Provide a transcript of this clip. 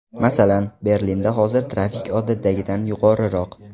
Masalan, Berlinda hozir trafik odatdagidan yuqoriroq.